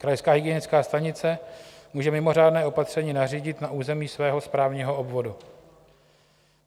Krajská hygienická stanice může mimořádné opatření nařídit na území svého správního obvodu.